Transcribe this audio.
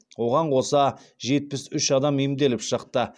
оған қоса жетпіс үш адам емделіп шықты